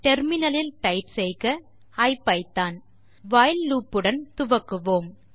ஐபிதான் terminal லில் type செய்க while loop உடன் துவக்குவோம்